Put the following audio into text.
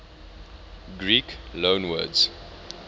greek loanwords